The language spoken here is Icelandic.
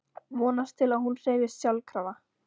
Vonast til að hún hreyfist sjálfkrafa.